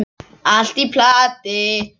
Allt í plati.